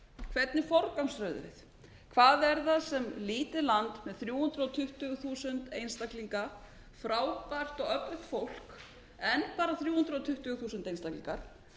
hvernig forgangsröðum við hvað er það sem lítið land með þrjú hundruð tuttugu þúsund einstaklinga frábært og öflugt fólk endar á þrjú hundruð tuttugu þúsund einstaklingar